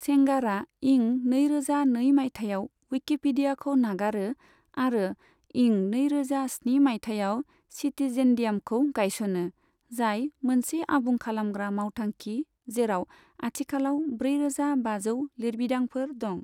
सेंगारा इं नै रोजा नै माइथायाव उइकिपिडियाखौ नागारो आरो इं नै रोजा स्नि माइथायाव सिटिजेनडियामखौ गायसनो, जाय मोनसे आबुं खालामग्रा मावथांखि जेराव आथिखालाव ब्रै रोजा बाजौ लिरबिदांफोर दं।